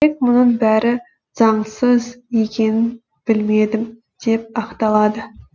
тек мұның бәрі заңсыз екенін білмедім деп ақталады